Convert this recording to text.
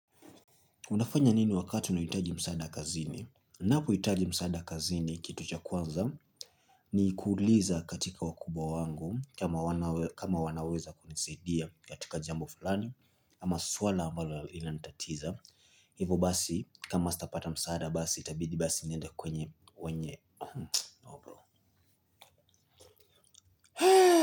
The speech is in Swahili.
Unafanya nini wakati unahitaji msaada kazini? Napohitaji msaada kazini kitu cha kwanza ni kuuliza katika wakubwa wangu kama wanaweza kunisidia katika jambo fulani ama swala ambalo lilantatiza. Hivo basi kama sitapata msaada basi itabidi basi niende kwenye wenye.